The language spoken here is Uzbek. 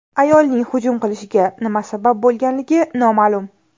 Ayolning hujum qilishiga nima sabab bo‘lganligi noma’lum.